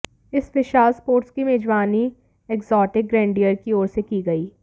इस विशाल स्पोर्ट्स की मेजबानी एग्जोटिक ग्रैंडीयर की ओर से की गई